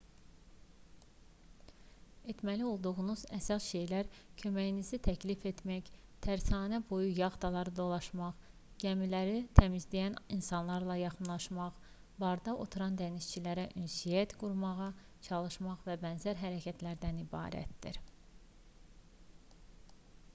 etməli olduğunuz əsas şeylər köməyinizi təklif etmək tərsanə boyu yaxtaları dolaşmaq gəmilərini təmizləyən insanlara yaxınlaşmaq barda oturan dənizçilərlə ünsiyyət qurmağa çalışmaq və bənzər hərəkətlərdən ibarətdir